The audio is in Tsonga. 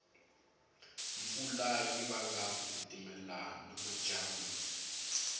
mpfula yivanga kutitimela namajambu